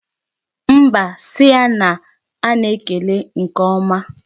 Mba, si ya na a na-ekele nke ọma.